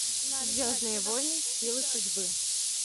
звездные войны силы судьбы